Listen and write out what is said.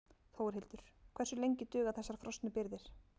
Þórhildur: Hversu lengi duga þessar frosnu birgðir?